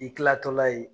I kilatɔla ye